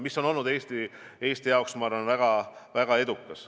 Ja see on olnud Eesti jaoks, ma arvan, väga edukas.